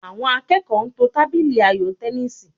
Àwọn akẹ́kọ̀ọ́ ń to tábìlì ayò tẹníìsì